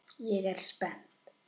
Ég er spennt.